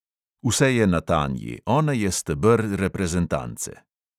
Vse je na tanji, ona je steber reprezentance.